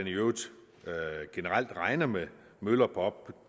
i øvrigt generelt regner med møller på op